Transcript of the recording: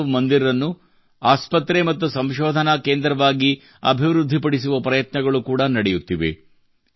ಮಾನವ್ ಮಂದಿರವನ್ನು ಆಸ್ಪತ್ರೆ ಮತ್ತು ಸಂಶೋಧನಾ ಕೇಂದ್ರವನ್ನಾಗಿ ಅಭಿವೃದ್ಧಿ ಪಡಿಸುವ ಪ್ರಯತ್ನಗಳು ಕೂಡಾ ನಡೆಯುತ್ತಿವೆ